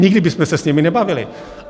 Nikdy bychom se s nimi nebavili.